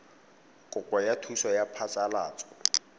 kopo ya thuso ya phasalatso